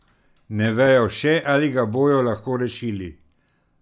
Ne vejo še, ali ga bojo lahko rešili.